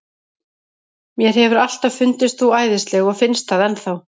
Mér hefur alltaf fundist þú æðisleg og finnst það enn þá.